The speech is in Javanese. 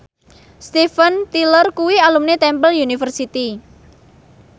Steven Tyler kuwi alumni Temple University